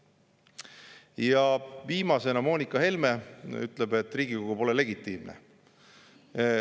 Ja viimasena, Moonika Helme ütles, et pole legitiimne.